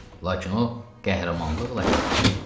Lakin o qəhrəmanlıqla həlak oldu.